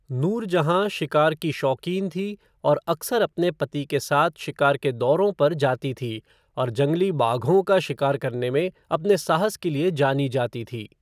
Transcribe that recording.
नूरजहाँ शिकार की शौकीन थी और अक्सर अपने पति के साथ शिकार के दौरों पर जाती थी और जंगली बाघों का शिकार करने में अपने साहस के लिए जानी जाती थी।